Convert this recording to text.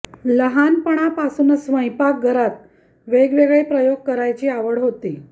लहानपणापासूनच स्वयंपाक घरात वेगवेगळे प्रयोग करायची आवड होती